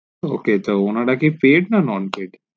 ok ত ওনারা কি pye না non pye